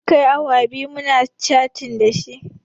Mun kai awa biyu muna catin dashi